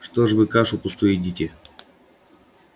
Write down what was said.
что ж вы кашу пустую едите